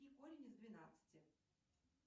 и корень из двенадцати